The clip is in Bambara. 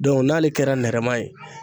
n'ale kɛra nɛrɛma ye